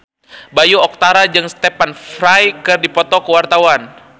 Bayu Octara jeung Stephen Fry keur dipoto ku wartawan